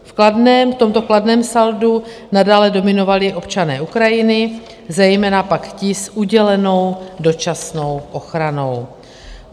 V tomto kladném saldu nadále dominovali občané Ukrajiny, zejména pak ti s udělenou dočasnou ochranou.